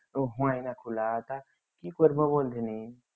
কি করবো